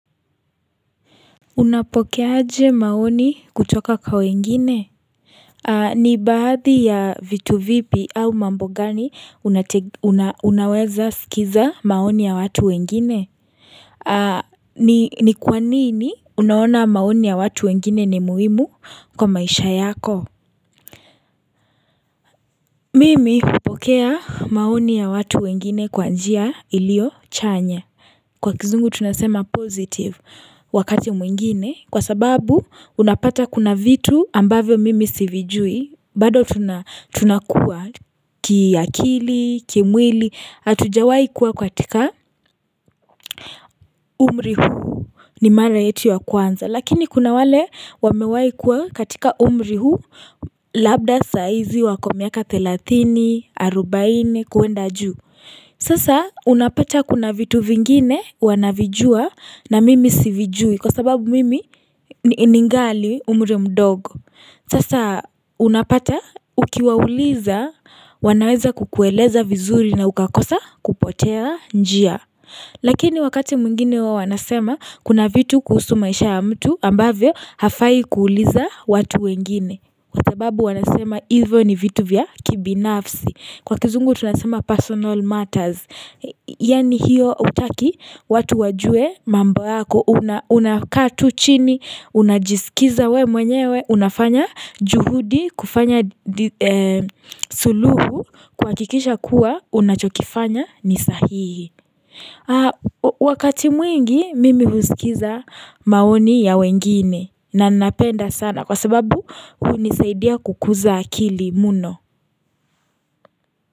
Unapokeaje maoni kutoka kwa wengine ni baadhi ya vitu vipi au mambo gani unate unaa unaweza sikiza maoni ya watu wengine ni kwa nini unaona maoni ya watu wengine ni muhimu kwa maisha yako Mimi hupokea maoni ya watu wengine kwa njia iliyo chanya Kwa kizungu tunasema positive wakati mwingine kwa sababu unapata kuna vitu ambavyo mimi sivijui bado tunakua kiakili, kimwili, hatujawai kuwa katika umri huu ni mara yetu ya kwanza. Lakini kuna wale wamewahi kuwa katika umri huu labda saizi wako miaka thelathini, arubaini kwenda juu. Sasa unapata kuna vitu vingine wanavijua na mimi sivijui kwa sababu mimi ni ningali umri mdogo. Sasa unapata ukiwauliza wanaweza kukueleza vizuri na ukakosa kupotea njia. Lakini wakati mwingine wawanasema kuna vitu kuhusu maisha ya mtu ambavyo hafai kuuliza watu wengine kwa sababu wanasema hivyo ni vitu vya kibinafsi Kwa kizungu tunasema personal matters Yaani hiyo hutaki watu wajue mambo yako Unakaa tu chini, unajiskiza we mwenyewe Unafanya juhudi kufanya due suluhu kwa kikisha kuwa unachokifanya ni sahihi Wakati mwingi mimi husikiza maoni ya wengine na napenda sana kwa sababu hunisaidia kukuza akili mno.